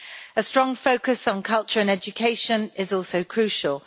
A strong focus on culture and education is also crucial.